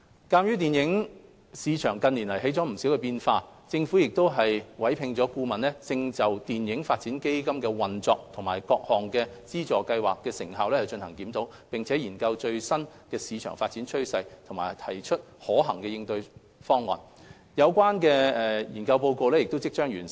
鑒於電影市場近年出現了不少變化，政府委聘的顧問正就電影發展基金的運作及其各項資助計劃的成效進行檢討，並研究最新的市場發展趨勢及提出可行的應對方案，有關研究報告即將完成。